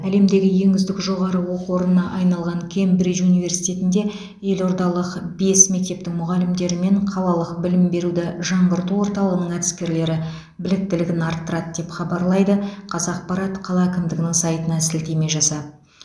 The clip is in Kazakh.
әлемдегі ең үздік жоғары оқу орнына айналған кембридж университетінде елордалық бес мектептің мұғалімдері мен қалалық білім беруді жаңғырту орталығының әдіскерлері біліктілігін арттырады деп хабарлайды қазақпарат қала әкімдігінің сайтына сілтеме жасап